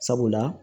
Sabula